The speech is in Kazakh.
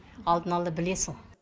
алдын ала білесің